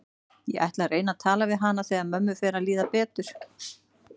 Ég ætla að reyna að tala við hana þegar mömmu fer að líða betur.